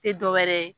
Tɛ dɔ wɛrɛ ye